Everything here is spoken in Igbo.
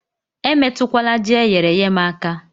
Emetụkwala Ji eyere èyé m aka